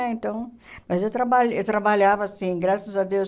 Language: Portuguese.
Então... Mas eu traba eu trabalhava assim, graças a Deus.